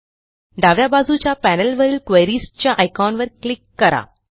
डाव्या बाजूच्या पॅनेलवरील क्वेरीज च्या आयकॉनवर क्लिक करा